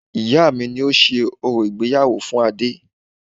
Ìyá mi ni ó ṣe orò ìgbéyàwó fún Adé